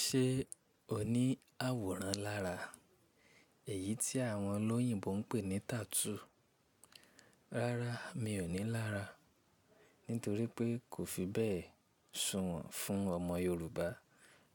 Ṣé o ní àwòrán lára èyí tí àwọn olóyìnbo ń pè ní tattoo? Rárá, mi ò ní lára, nítorí pé kò fi bẹ́ẹ̀ sùnwọ̀n fún ọmọ Yorùbá